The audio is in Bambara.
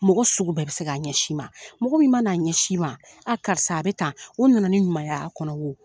Mɔgɔ sugu bɛɛ bɛ se k'a ɲɛsi i ma, mɔgɔ min mana a ɲɛsi i ma , a karisa a bɛ tan , o nana ni ɲumanya' kɔnɔ wo.